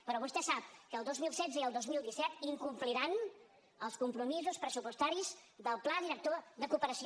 però vostè sap que el dos mil setze i el dos mil disset incompliran els compromisos pressupostaris del pla director de cooperació